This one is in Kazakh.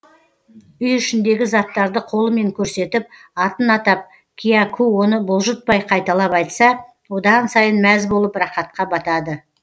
үй ішіндегі заттарды қолымен көрсетіп атын атап кияку оны бұлжытпай қайталап айтса одан сайын мәз болып рақатқа батады